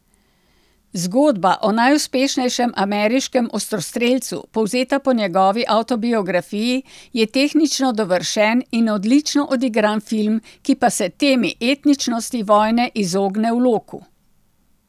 Zgodba o najuspešnejšem ameriškem ostrostrelcu, povzeta po njegovi avtobiografiji, je tehnično dovršen in odlično odigran film, ki pa se temi etičnosti vojne izogne v loku.